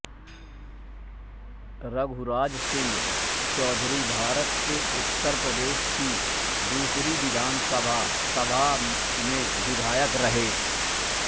रघुराज सिंह चौधरीभारत के उत्तर प्रदेश की दूसरी विधानसभा सभा में विधायक रहे